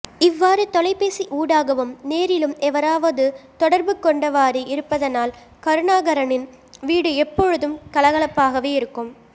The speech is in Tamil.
இவ்வாறு தொலைபேசி ஊடாகவும் நேரிலும் எவராவது தொடர்புகொண்டவாறே இருப்பதனால் கருணாகரனின் வீடு எப்பொழுதும் கலகலப்பாகவே இருக்கும்